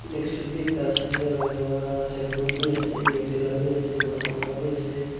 desktop bi ekta ase enakura signboard bi ase airtel la bi ase vodafone laka biase.